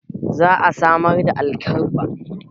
Za a samar da alkabba.